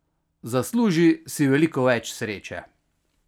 Zasluži si veliko več sreče!